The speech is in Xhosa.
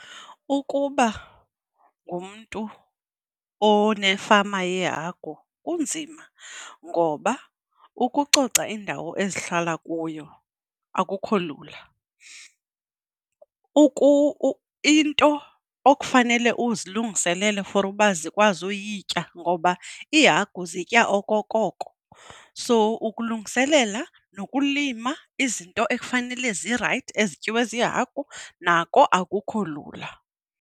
Ukuba ngumntu onefama yehagu kunzima ngoba ukucoca indawo ezihlala kuyo akukho lula. into okufanele uzilungiselele for uba zikwazi uyitya ngoba iihagu zitya okokoko, soo ukulungiselela nokulima izinto ekufanele zirayithi ezityiwe ziihagu nako akukho lula.